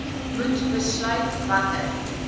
moet besluit watter